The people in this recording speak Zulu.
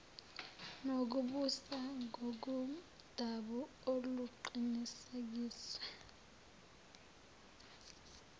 nokubusa ngokomdabu oluqinisekiswe